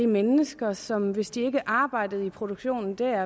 mennesker som hvis ikke de arbejdede i produktionen der